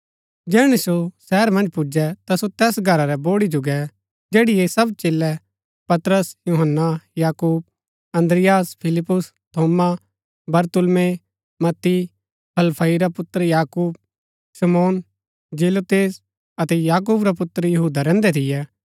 जैहणै सो शहर मन्ज पुजै ता सो तैस घरा रै बोड़ी जो गै जैड़ी ऐह सब चेलै पतरस यूहन्‍ना याकूब अन्द्रियास फिलिप्पुस थोमा बरतुल्मै मत्ती हलफई रा पुत्र याकूब शमौन जेलोतेस अतै याकूब रा पुत्र यहूदा रहन्दै थियै